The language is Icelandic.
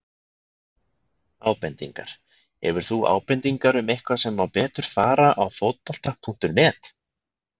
Ábendingar: Hefur þú ábendingar um eitthvað sem má betur fara á Fótbolta.net?